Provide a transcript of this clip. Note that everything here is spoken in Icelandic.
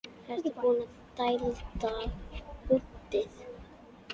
Ertu búinn að dælda húddið?